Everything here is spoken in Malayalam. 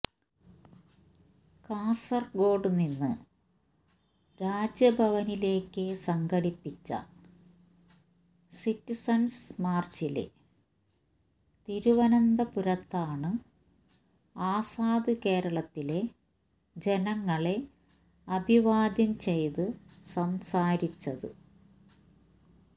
കാസര്ഗോഡ് നിന്ന് രാജ്ഭവനിലേക്ക് സംഘടിപ്പിച്ച സിറ്റിസണ്സ് മാര്ച്ചില് തിരുവനന്തപുരത്താണ് ആസാദ് കേരളത്തിലെ ജനങ്ങളെ അഭിവാദ്യം ചെയ്ത് സംസാരിച്ചത്